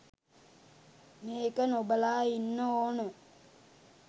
මේක නොබලා ඉන්න ඕන.